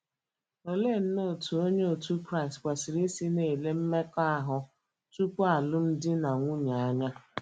Olee nnọọ otú Onye otu Kraịst kwesịrị isi na - ele mmekọahụ tupu alụmdi na nwunye anya?